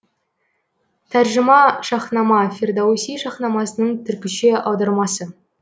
тәржіма шаһнама фердоуси шаһнамасының түркіше аудармасы